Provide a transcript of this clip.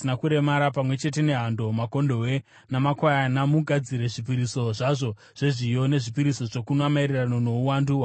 Pamwe chete nehando, makondobwe namakwayana mugadzire zvipiriso zvazvo zvezviyo nezvipiriso zvokunwa maererano nouwandu hwakarayirwa.